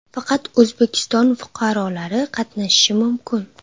Faqat O‘zbekiston fuqarolari qatnashishi mumkin.